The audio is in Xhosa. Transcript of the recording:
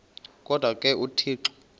kodwa ke uthixo